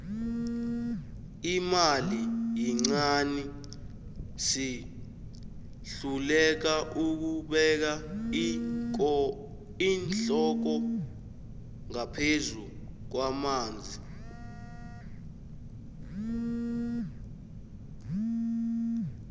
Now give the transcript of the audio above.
imali yincani sihluleka ukubeka iinhloko ngaphezu kwamanzi